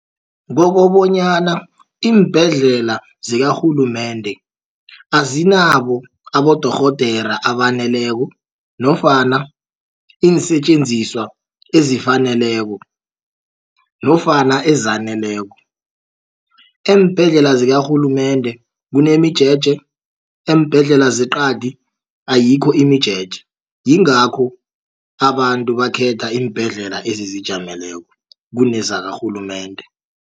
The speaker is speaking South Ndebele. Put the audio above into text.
Kokobonyana iimbhedlela zikarhulumende azinabo abodorhodera abaneleko nofana iinsetjenziswa ezifaneleko nofana ezaneleko. Eembhedlela zikarhulumende kunemijeje eembhedlela zeqadi ayikho imijeje. Yingakho abantu bakhetha iimbhedlela ezizijameleko kunezakarhulumende.